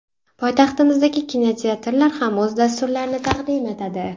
Poytaxtimizdagi kinoteatrlar ham o‘z dasturlarini taqdim etadi.